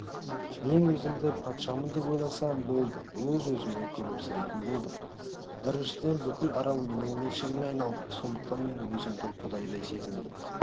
мен өзімді патшамын деп ойласам болды өз-өзімнен күлімсірейтін болдым біріншіден бүкіл арал менің меншігіме айналды сондықтан мен өзімді құдайдай сезіндім